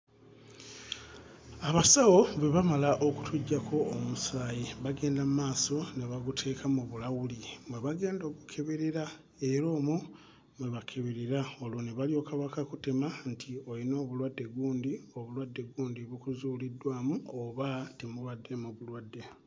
Abasawo bwe bamala okutuggyako omusaayi bagenda mmaaso ne baguteeka mu bulawuli mwe bagenda ogukeeberera era omwo mwe bakeberera ne balyoka bakakutema nti olina obulwadde gundi obulwdde gundi bukuzuuliddwamu oba temubaddeemu bulwadde.